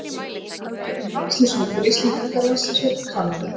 Sjá einnig: Landsliðshópur Íslendinga Landsliðshópur Kanada